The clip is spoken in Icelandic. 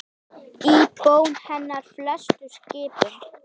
Í bón hennar felst skipun.